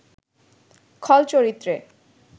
খল চরিত্রে